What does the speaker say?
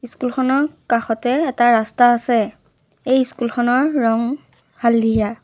School খনৰ কাষতে এটা ৰাস্তা আছে এই স্কুল খনৰ ৰং হালধীয়া।